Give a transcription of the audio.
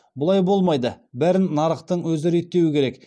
бұлай болмайды бәрін нарықтың өзі реттеуі керек